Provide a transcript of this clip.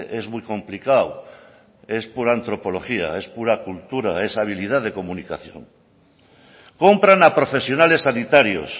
es muy complicado es por antropología es pura cultura es habilidad de comunicación compran a profesionales sanitarios